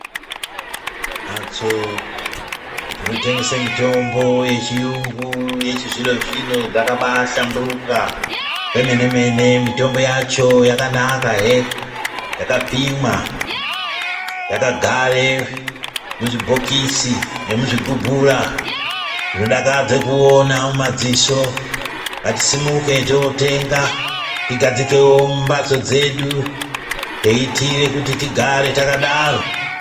Mphatso dzinotengese mitombo yechiyungu yechizvino-zvino dzakabaahlamburuka kwemene-mene, mitombo yacho yakanakahe yakapimwa yakagare muzvibhokisi emuzvigubhura zvinodakadze kuona mumadziso, ngatisimuke tootenga tigadzikewo mumphatso dzedu teitiire kuti tigare takadaro.